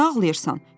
Niyə ağlayırsan?